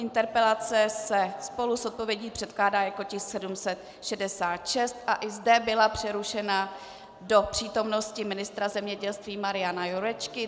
Interpelace se spolu s odpovědí předkládá jako tisk 766 a i ta byla přerušena do přítomnosti ministra zemědělství Mariana Jurečky.